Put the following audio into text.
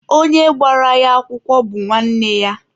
Onye gbara ya akwụkwọ bụ nwanne ya.